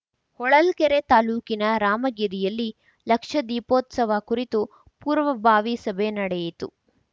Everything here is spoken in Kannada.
ಹೊಳಲ್ಕೆರೆ ತಾಲೂಕಿನ ರಾಮಗಿರಿಯಲ್ಲಿ ಲಕ್ಷದೀಪೋತ್ಸವ ಕುರಿತು ಪೂರ್ವಭಾವಿ ಸಭೆ ನಡೆಯಿತು